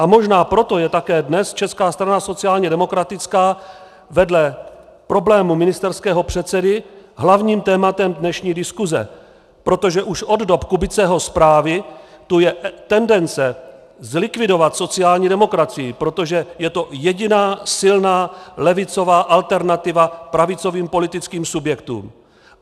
A možná proto je také dnes Česká strana sociálně demokratická vedle problému ministerského předsedy hlavním tématem dnešní diskuse, protože už od dob Kubiceho zprávy tu je tendence zlikvidovat sociální demokracii, protože je to jediná silná levicová alternativa pravicovým politickým subjektům.